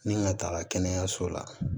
Ni n ga taa kɛnɛyaso la